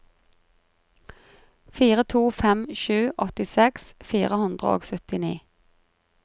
fire to fem sju åttiseks fire hundre og syttini